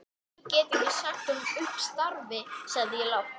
Sú stutta leit upp og rýndi á manninn.